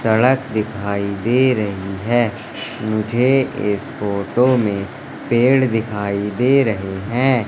सड़क दिखाई दे रही हैं मुझे इस फोटो में पेड़ दिखाई दे रहे हैं।